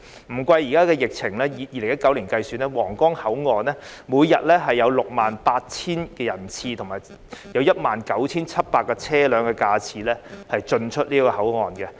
不計現在的疫情，以2019年計算，皇崗口岸每天有 68,000 人次及車輛 19,700 架次進出該口岸。